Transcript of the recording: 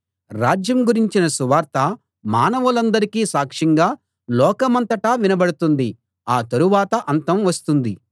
రాజ్యం గురించిన సువార్త మానవులందరికీ సాక్ష్యంగా లోకమంతటా వినబడుతుంది ఆ తరువాత అంతం వస్తుంది